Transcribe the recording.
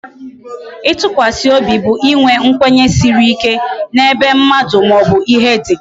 Itụkwasị obi bụ inwe nkwenye siri ike n'ebe mmadụ maobu ihe dị